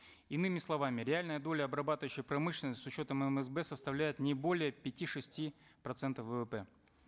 иными словами реальная доля обрабатывающей промышленности с учетом мсб составляет не более пяти шести процентов ввп